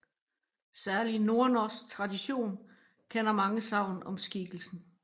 Særlig nordnorsk tradition kender mange sagn om skikkelsen